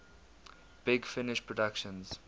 big finish productions